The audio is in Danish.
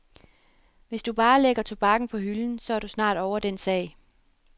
Hvis du bare lægger tobakken på hylden, så er du snart ovre den sag.